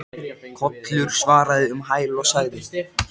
Kollur svaraði um hæl og sagði